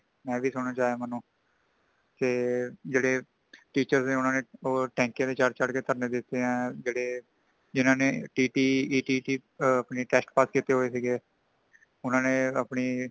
ਐ ਵੀ ਸੁਨਣ ਨੂੰ ਆਇਆ ਮੇਨੂੰ ਤੇ ਜੇੜ੍ਹੇ teacher ਸਾਨ ਊਨਾ ਨੇ ਟੈਂਕੀਆ ਤੇ ਚੜ, ਚੜ ਕੇ ਥਰਨੇ ਦਿੱਤੇ ਹੈ | ਜੇੜੇ ਜਿਨ੍ਹਾਂ ਨੇT.T.- E.T.T ਦੇ ਅਪਣੇ test pass ਕਿਤੇ ਹੋਈ ਸੀ ਗੇ |ਉਨ੍ਹਾਂਨੇ ਨੇ ਅਪਣੀ